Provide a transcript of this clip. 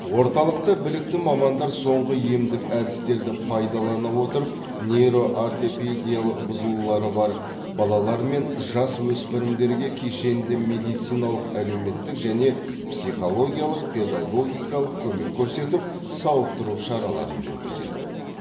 орталықта білікті мамандар соңғы емдік әдістерді пайдалана отырып нейро ортопедиялық бұзылулары бар балалар мен жасөспірімдерге кешенді медициналық әлеуметтік және психологиялық педагогикалық көмек көрсетіп сауықтыру шараларын жүргізеді